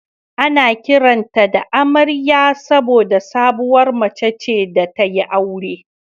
Ana kiranta da "Amariya" saboda sabuwar mace ce da ta yi aure